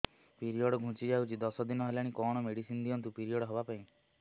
period ଘୁଞ୍ଚି ଯାଇଛି ଦଶ ଦିନ ହେଲାଣି କଅଣ ମେଡିସିନ ଦିଅନ୍ତୁ ପିରିଅଡ଼ ହଵା ପାଈଁ